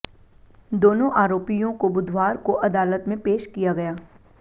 दोनों आरोपियों को बुधवार को अदालत में पेश किया गया